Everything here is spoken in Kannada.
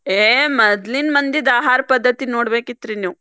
ಏ ಮದ್ಲಿನ ಮಂದಿದ ಆಹಾರ ಪದ್ಧತಿ ನೋಡ್ಬೇಕಿತ್ತ್ರಿ ನೀವ್?